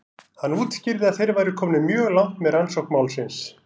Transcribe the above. Hann útskýrði að þeir væru komnir mjög langt með rannsókn málsins.